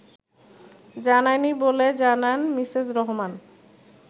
জানায়নি বলে জানান মিসেস রহমান